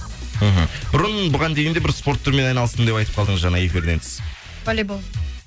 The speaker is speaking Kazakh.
мхм бұрын бұған дейін де бір спорт түрімен айналыстым деп айтып қалдыңыз эфирден тыс волейбол